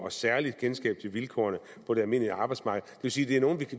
et særligt kendskab til vilkårene på det almindelige arbejdsmarked vil sige at det er nogle